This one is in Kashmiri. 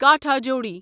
کاٹھاجوڑی